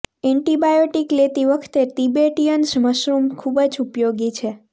antibiotic લેતી વખતે Tibetan mushroom ખૂબ જ ઉપયોગી છે